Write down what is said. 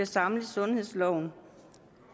samles i sundhedsloven